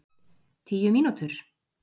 Tíu mínútur?